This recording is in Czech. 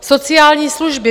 Sociální služby.